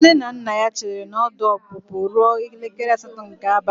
Nne na nna ya chere na ọdụ ọpụpụ ruo elekere asatọ nke abalị.